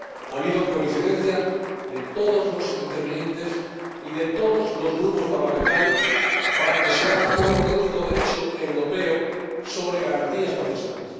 Ha habido coincidencia de todos los intervinientes y de todos los grupos parlamentarios para que se elabore un auténtico Derecho europeo sobre garantías procesales.